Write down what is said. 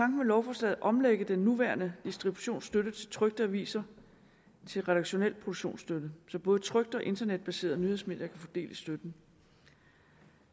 med lovforslaget at omlægge den nuværende distributionsstøtte til trykte aviser til redaktionel produktionsstøtte så både trykte og internetbaserede nyhedsmedier kan få del i støtten